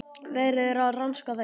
Verið er að rannsaka þær